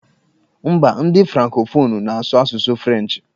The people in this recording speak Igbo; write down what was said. M̀bá ndị frankofonụ na-asụ asụsụ frenchị.